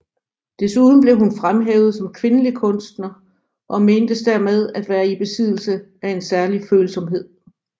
Desuden blev hun fremhævet som kvindelig kunstner og mentes dermed at være i besiddelse af en særlig følsomhed